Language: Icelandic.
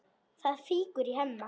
Það fýkur í Hemma.